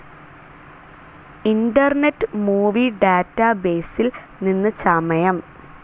internet movie ഡാറ്റബേസിൽ നിന്ന് ചമയം